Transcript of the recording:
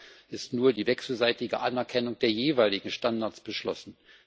Leider wurde nur die wechselseitige Anerkennung der jeweiligen Standards beschlossen.